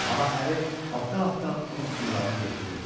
Amma əri altdan-altdan onun pullarını götürürdü.